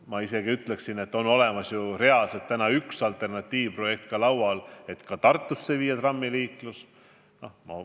Ma isegi ütlen, et meil on laual olemas üks alternatiivprojekt, et ka Tartus võiks võtta kasutusele trammiliikluse.